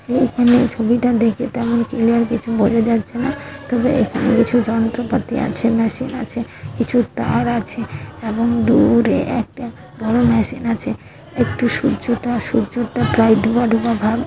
এইখানে ছবিটা দেখে তেমন ক্লিয়ার কিছু বোঝা যাচ্ছে না তবে এখানে কিছু যন্ত্রপাতি আছে। মেশিন আছে কিছু তার আছে এবং দূ-উ-রে একটা বড় মেশিন আছে একটু সূর্য টা সূর্য টা প্রায় ডুবা ডুবা ভাব।